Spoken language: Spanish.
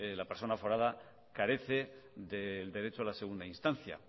la persona aforada carece del derecho a la segunda instancia